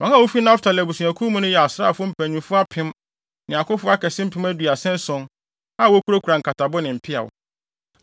Wɔn a wofi Naftali abusuakuw mu no yɛ asraafo mpanyimfo apem (1,000) ne akofo akɛse mpem aduasa ason (37,000) a wokurakura nkatabo ne mpeaw.